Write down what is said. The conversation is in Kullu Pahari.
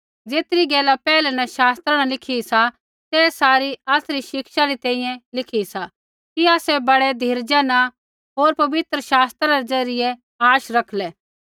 ज़ेतरी गैला पैहलै न शास्त्रा न लिखी सी ते सारी आसरी शिक्षा री तैंईंयैं लिखी सी कि आसै बड़ै धीरजा न होर पवित्र शास्त्रा रै ज़रियै आश रखलै